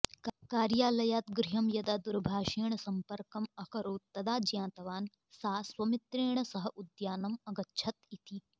कार्यालयात् गृहं यदा दूरभाषेण सम्पर्कम् अकरोत् तदा ज्ञातवान् सा स्वमित्रेण सह उद्यानम् अगच्छत् इति